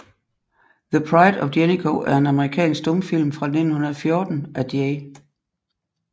The Pride of Jennico er en amerikansk stumfilm fra 1914 af J